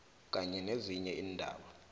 kanye nezinye iindaba